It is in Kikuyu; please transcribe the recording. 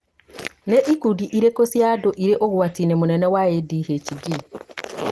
nĩ ikundi irĩkũ cia andũ irĩ ũgwati-inĩ mũnene wa ADHD